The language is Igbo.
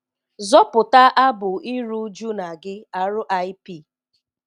zọ̀pụ̀tà abụ̀ ìrù ùjù na gị̀ R.I.P.